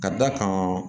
Ka d'a kan